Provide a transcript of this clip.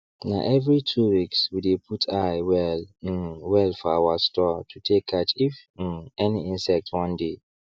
na every 2weeks we dey put eye well um well for our store to take catch if um any insect wan dey